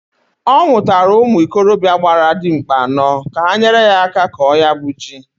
Ọ nwụtara ụmụ ikorobịa gbara dimkpa anọọ, ka ha nyere ya aka kọọ ya bu ji.